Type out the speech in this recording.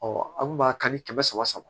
an kun b'a kan ni kɛmɛ saba saba